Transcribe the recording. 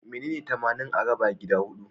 Menene tamanin a raba gida huɗu?